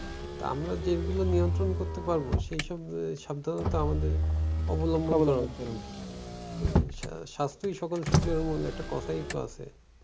তা আমরা যেগুলো নিয়ন্ত্রণ করতে পারবো সেইসব গুলো সাধ্যমত আমাদের অবলম্বন করা উচিত। এ সা~ সাস্থই সকল সুখের মূল একটা কথাই তো আছে।